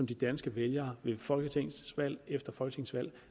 de danske vælgere ved folketingsvalg efter folketingsvalg